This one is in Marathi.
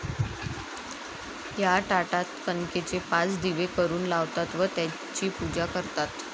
या ताटात कणकेचे पाच दिवे करून लावतात व त्यांची पूजा करतात.